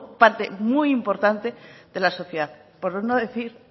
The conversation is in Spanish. parte muy importante de la sociedad por no decir